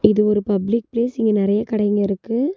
இது ஒரு public place இங்க நெறைய கடைங்க இருக்கு.